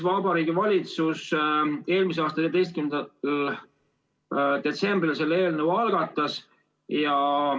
Vabariigi Valitsus eelmise aasta 14. detsembril selle eelnõu algatas.